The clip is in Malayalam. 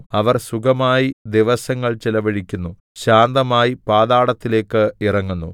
അവർ സുഖമായി ദിവസങ്ങൾ ചിലവഴിക്കുന്നു ശാന്തമായി പാതാളത്തിലേക്ക് ഇറങ്ങുന്നു